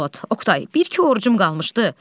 Xasbolat, Oqtay, bir iki orucum qalmışdı.